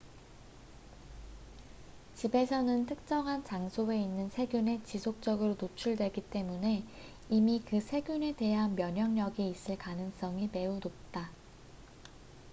집에서는 특정한 장소에 있는 세균에 지속적으로 노출되기 때문에 이미 그 세균에 대한 면역력이 있을 가능성이 매우 높다